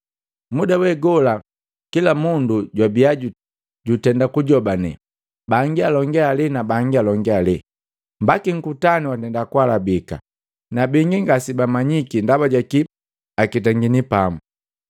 Muda wegola, kila mundu jwabia jutenda kujobane, bangi alonge ale na bangi alonge ale, mbaki nkutanu watenda kualabika. Na bingi ngasebamanyiki ndaba jaki aketangini pamu.